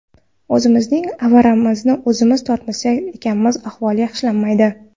O‘zimizning aravamizni o‘zimiz tortmas ekanmiz ahvol yaxshilanmaydi.